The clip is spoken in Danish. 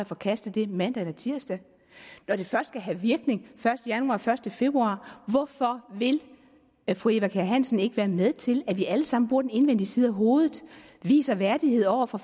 forkaste det mandag eller tirsdag når det først skal have virkning den første januar første februar hvorfor vil fru eva kjer hansen ikke være med til at vi alle sammen bruger den indvendige side af hovedet viser værdighed over for